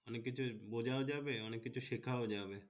অনেক কিছু বোঝা যাবে শেখ যাবে